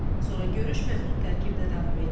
Sonra görüş məhdud tərkibdə davam etdi.